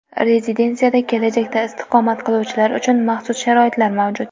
Rezidensiyada kelajakda istiqomat qiluvchilar uchun maxsus sharoitlar mavjud.